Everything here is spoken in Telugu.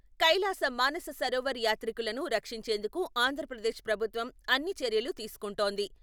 కైలాస మానస సరోవర్ యాత్రికులను రక్షించేందుకు ఆంధ్రప్రదేశ్ ప్రభుత్వం అన్ని చర్యలూ తీసుకుంటోంది.